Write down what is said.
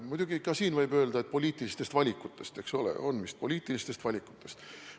Muidugi ka siin võib öelda, et küsimus on poliitilistest valikutest – on vist poliitilistest valikutest.